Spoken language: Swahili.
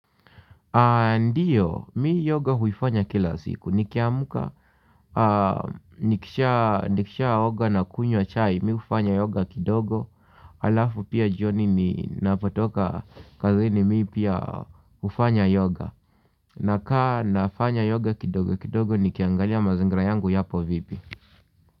Ndiyo mi yoga huifanya kila siku nikiamka. Nikishaoga na kunywa chai mi hufanya yoga kidogo. Halafu pia jioni ninapotoka kazini mi pia hufanya yoga. Nakaa nafanya yoga kidogo kidogo nikiangalia mazingira yangu yapo vipi.